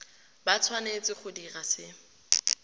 ba tshwanetse go dira se